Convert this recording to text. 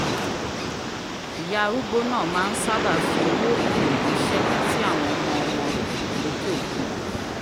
ìyá arúgbó náà ma ń sábà fi owó ìpè ránṣẹ́ sí àwọn ọmọ-ọmọ rẹ̀ lókè òkun